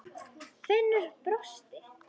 Finnur brosti.